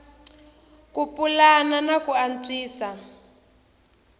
ku pulana na ku antswisa